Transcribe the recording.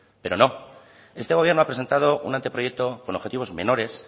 pero no este gobierno ha presentado un anteproyecto con objetivos menores